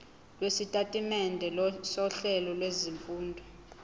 lwesitatimende sohlelo lwezifundo